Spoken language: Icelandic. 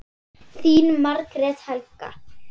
Þín Margrét Helga.